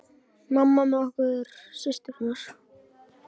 Mamma með okkur systurnar.